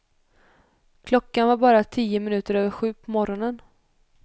Klockan var bara tio minuter över sju på morgonen.